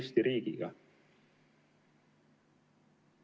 Eesti riigi vastu.